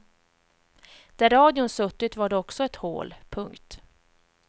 Där radion suttit var det också ett hål. punkt